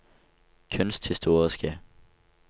kunsthistoriske